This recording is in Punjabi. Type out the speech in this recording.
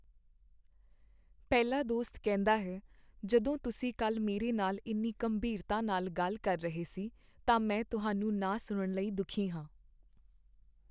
ਪਹਿਲਾ ਦੋਸਤ ਕਹਿੰਦਾ ਹੈ, ਜਦੋਂ ਤੁਸੀਂ ਕੱਲ੍ਹ ਮੇਰੇ ਨਾਲ ਇੰਨੀ ਗੰਭੀਰਤਾ ਨਾਲ ਗੱਲ ਕਰ ਰਹੇ ਸੀ ਤਾਂ ਮੈਂ ਤੁਹਾਨੂੰ ਨਾ ਸੁਣਨ ਲਈ ਦੁਖੀ ਹਾਂ